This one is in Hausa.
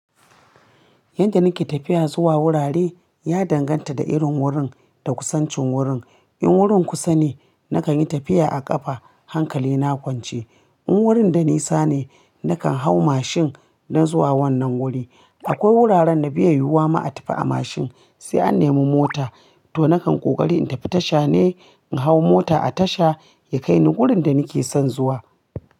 Yadda nake tafiya zuwa wurare ya danganta da irin wurin da kusancin wurin. In wurin kusa ne nakan yi tafiya a ƙafa hankali na kwance. In wurin da nisa ne nakan hau mashin don zuwa wannan wuri. Akwai wuraren da bai yiwuwa ma a tafi a mashin sai a nemo mota to nakan ƙoƙari in tafi tasha ne in hau mota a tasha ya kai ni wurin da nake son zuwa.